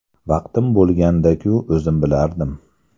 Vaqtim bo‘lganda-ku, o‘zim bilardim.